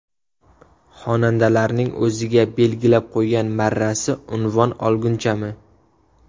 Xonandalarning o‘ziga belgilab qo‘ygan marrasi unvon olgunchami?